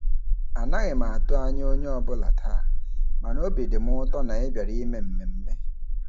Anaghị m atụ anya onye ọbụla taa, mana obi dị m ụtọ na ị bịara ime mmemme.